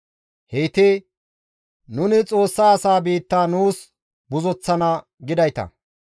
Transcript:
Heyti, «Nuni Xoossa asaa biitta nuus buzoththana» gidayta.